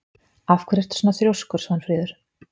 Af hverju ertu svona þrjóskur, Svanfríður?